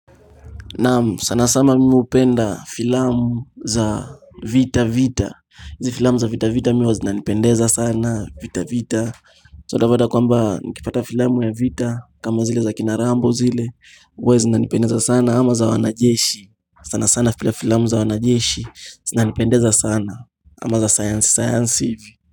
Naam sana sana mimi hupenda filamu za vita vita. Hizi filamu za vita vita mi huwa zinanipendeza sana vita vita. Sa utapata kwamba nikipata filamu ya vita kama zile za kina Rambo zile huwa zinanipendeza sana ama za wanajeshi sana sana filamu za wanajeshi zinanipendeza sana ama za sayansi, sayansi hivi.